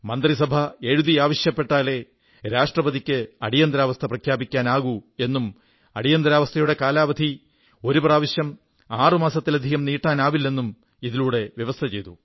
മന്ത്രിസഭ എഴുതി ആവശ്യപ്പെട്ടാലേ രാഷ്ട്രപതിക്ക് അടിയന്തരാവസ്ഥ പ്രഖ്യാപിക്കാനാകൂ എന്നും അടിയന്തരാവസ്ഥയുടെ കാലാവധി ഒരു പ്രാവശ്യം ആറു മാസത്തിലധികം നീട്ടാനാവില്ലെന്നും ഇതിലൂടെ വ്യവസ്ഥ ചെയ്തു